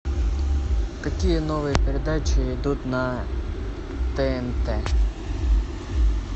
какие новые передачи идут на тнт